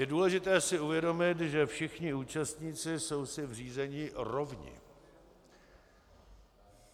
Je důležité si uvědomit, že všichni účastníci jsou si v řízení rovni.